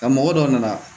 Nka mɔgɔ dɔ nana